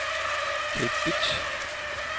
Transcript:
Kathe Bitsch